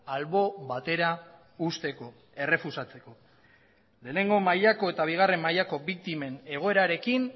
albo batera uzteko errefusatzeko lehenengo mailako eta bigarren mailako biktimen egoerarekin